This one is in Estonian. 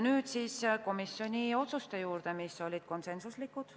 Nüüd siis komisjoni otsuste juurde, mis olid konsensuslikud.